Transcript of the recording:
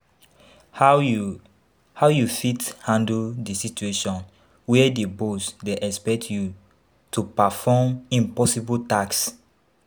How you How you fit handle di situation where di boss dey expect you to perform impossible tasks?